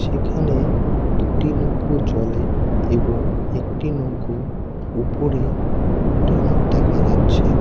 এখানে দুটি নৌকো জলে এবং একটি নৌকো উপরে উল্টানো দেখা যাচ্ছে।